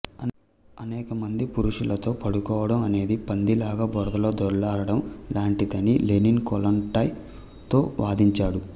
అనేక మంది పురుషులతో పడుకోవడం అనేది పంది లాగ బురదలో దొరలడం లాంటిదని లెనిన్ కొల్లొంటాయ్ తో వాదించాడు